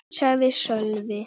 sagði Sölvi.